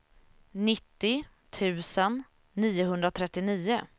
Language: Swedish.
nittio tusen niohundratrettionio